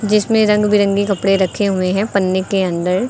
जिसमे रंग बिरंगे कपड़े रखे हुए है पन्नी के अंदर।